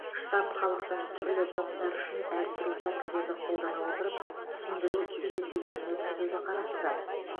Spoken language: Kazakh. штаб халықтың түрлі топтары үшін әртүрлі тәсілдерді қолдана отырып түсіндіру кездесулерін өткізуді қарастырады